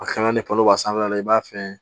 A kana ni palon i b'a fɛ